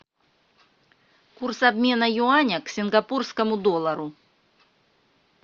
курс обмена юаня к сингапурскому доллару